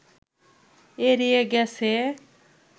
এড়িয়ে গেছে